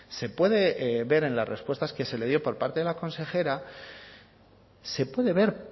se puede ver en las respuestas que se le dio por parte de la consejera se puede ver